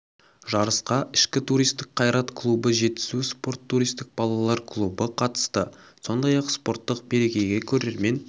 жарысқа ішкі туристік қайрат клубы жетісу спорт туристік балалар клубы қатысты сондай ақ спорттық мерекеге көрермен